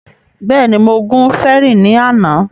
Bẹ́ẹ̀ni, mo gun fẹrí ní àná